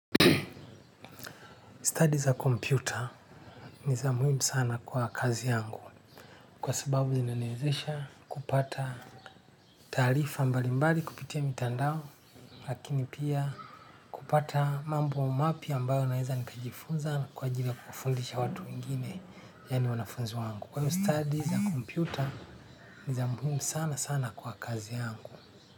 Stadi za kompyuta ni za muhimu sana kwa kazi yangu kwa sababu zinaniwezesha kupata taarifa mbalimbali kupitia mitandao lakini pia kupata mambo mapya ambayo naweza nikajifunza na kwa ajili ya kufundisha watu wengine. Yaani wanafunzi wangu kwa hivyo stadi za kompyuta ni za muhimu sana sana kwa kazi yangu.